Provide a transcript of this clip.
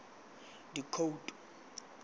dikhoutu